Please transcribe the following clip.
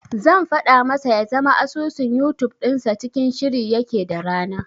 Zan faɗa masa ya zama asusun Yutub dinsa cikin shiri yake da rana.